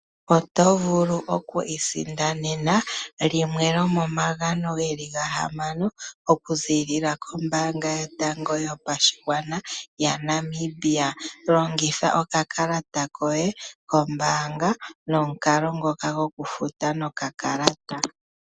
Oto vulu oku isindanena limwe lomomagano geli ga hamano okuziilila kombaanga yotango yopashigwana ya Namibia. Longitha okakalata koye kombaanga nomukalo ngoka gokufuta nokakalata.